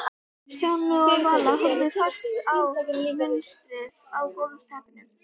Stjáni og Vala horfðu fast á munstrið á gólfteppinu.